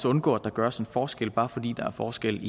undgå at der gøres en forskel bare fordi der er forskel